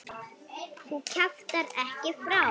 Þú kjaftar ekki frá!